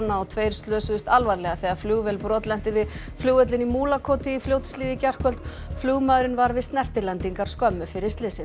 og tveir slösuðust alvarlega þegar flugvél brotlenti við flugvöllinn í Múlakoti í Fljótshlíð í gærkvöld flugmaðurinn var við snertilendingar skömmu fyrir slysið